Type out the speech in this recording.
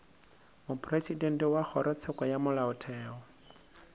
mopresidente wa kgorotsheko ya molaotheo